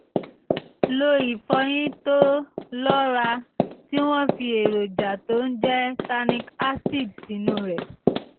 lo ìfọyín tó lọ́ràá tí wọ́n fi èròjà tó ń jẹ́ tannic acid sínú rẹ̀